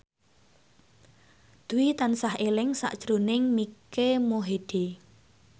Dwi tansah eling sakjroning Mike Mohede